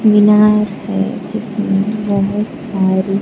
मीनार है जिसमें बहुत सारी--